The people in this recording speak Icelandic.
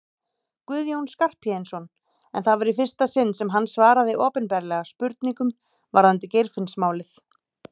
Guðjón Skarphéðinsson en það var í fyrsta sinn sem hann svaraði opinberlega spurningum varðandi Geirfinnsmálið.